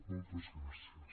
moltes gràcies